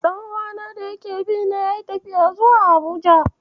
Ɗan'uwana da yake bi na yayi tafiya zuwa Abuja.